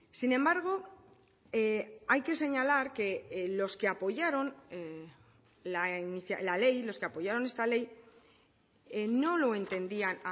sin embargo hay que señalar que los que apoyaron la ley los que apoyaron esta ley no lo entendían